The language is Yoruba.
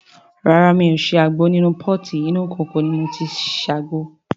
Rárá mi ò ṣe àgbo nínú pọ́ọ̀tì, inú ìkòkò ni mo ti ṣe àgbo.